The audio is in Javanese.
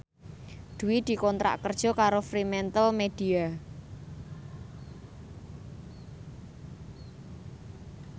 Dwi dikontrak kerja karo Fremantlemedia